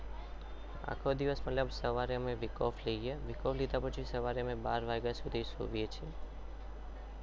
આખો દિવસ મતલબ સવારે અમે week off લઈએ week off લીધા પછી સવારે અમને બાર વાગ્યા સુધી સૂઈએ છીએ.